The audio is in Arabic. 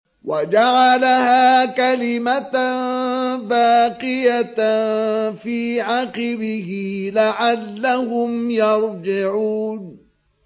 وَجَعَلَهَا كَلِمَةً بَاقِيَةً فِي عَقِبِهِ لَعَلَّهُمْ يَرْجِعُونَ